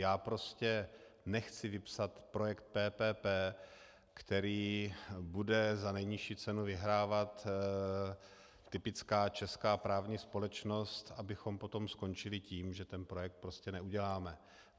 Já prostě nechci vypsat projekt PPP, který bude za nejnižší cenu vyhrávat typická česká právní společnost, abychom potom skončili tím, že ten projekt prostě neuděláme.